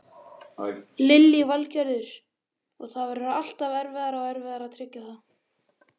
Lillý Valgerður: Og það verður alltaf erfiðara og erfiðara að tryggja það?